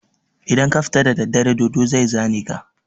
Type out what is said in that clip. Idan ka fita da daddare dodo zai zane ka.